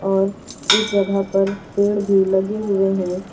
और इस जगह पर पेड़ भी लगे हुए है।